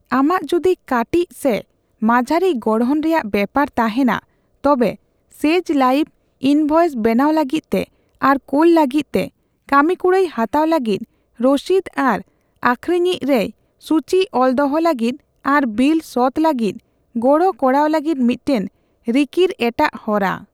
ᱟᱢᱟᱜ ᱡᱩᱫᱤ ᱠᱟᱹᱴᱤᱡ ᱥᱮ ᱢᱟᱡᱷᱟᱹᱨᱤ ᱜᱚᱲᱦᱚᱱ ᱨᱮᱭᱟᱜ ᱵᱮᱯᱟᱨ ᱛᱟᱦᱮᱸᱱᱟ, ᱛᱚᱵᱮ 'ᱥᱮᱡ ᱞᱟᱭᱤᱵ' ᱤᱱᱵᱷᱚᱭᱮᱱᱥ ᱵᱮᱱᱟᱣ ᱞᱟᱹᱜᱤᱫᱛᱮ ᱟᱨ ᱠᱳᱞ ᱞᱟᱹᱜᱤᱫᱛᱮ, ᱠᱟᱹᱢᱤᱠᱩᱲᱟᱹᱭ ᱦᱟᱛᱟᱣ ᱞᱟᱹᱜᱤᱫ, ᱨᱚᱥᱤᱫ ᱟᱨ ᱟᱠᱷᱨᱟᱹᱤᱧ ᱨᱮᱭ ᱥᱩᱪᱤ ᱚᱞ ᱫᱚᱦᱚ ᱞᱟᱹᱜᱤᱫ, ᱟᱨ ᱵᱤᱞ ᱥᱚᱛ ᱞᱟᱹᱜᱤᱫ ᱜᱚᱲᱚ ᱠᱚᱨᱟᱣ ᱞᱟᱹᱜᱤᱫ ᱢᱤᱫᱴᱮᱱ ᱨᱤᱠᱤᱲ ᱮᱴᱟᱜ ᱦᱚᱨᱟ ᱾